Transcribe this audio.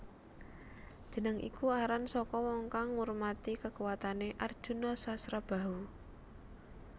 Jeneng iku aran saka wong kang ngurmati kekuwatane Arjuna Sasrabahu